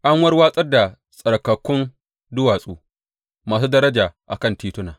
An warwatsar da tsarkakakkun duwatsu masu daraja a kan tituna.